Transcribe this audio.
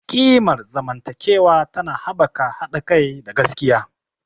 Ƙimar zamantakewa tana haɓaka haɗa kai da gaskiya.